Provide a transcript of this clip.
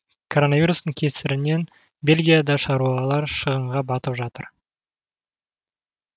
коронавирустың кесірінен бельгияда да шаруалар шығынға батып жатыр